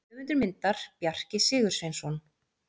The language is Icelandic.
Höfundur myndar: Bjarki Sigursveinsson.